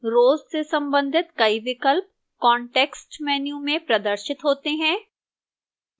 rows से संबंधित कई विकल्प context menu में प्रदर्शित होते हैं